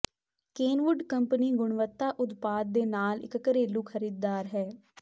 Kenwood company ਗੁਣਵੱਤਾ ਉਤਪਾਦ ਦੇ ਨਾਲ ਇੱਕ ਘਰੇਲੂ ਖਰੀਦਦਾਰ ਹੈ